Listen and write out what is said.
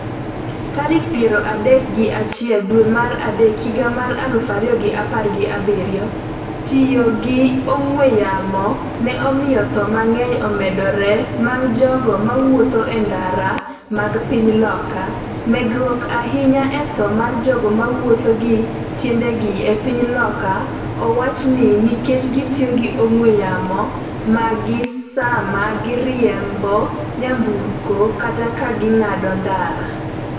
tarik piero adek gi achiel dwe mar adek higa mar aluf ariyo gi apar gi abiriyo. Tiyo gi ong'we yamo ne omiyo tho mang’eny omedore mag jogo ma wuotho ​​e ndara mag piny Loka. medruok ahinya e tho mar jogo mawuotho gi tiendegi e piny Loka owach ni nikech gi tiyo gi ong'we yamo maggi sama giriembo nyamburko kata ka ging'ado ndara